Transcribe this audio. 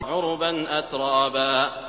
عُرُبًا أَتْرَابًا